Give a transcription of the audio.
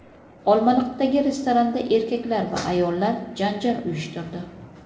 Olmaliqdagi restoranda erkaklar va ayollar janjal uyushtirdi.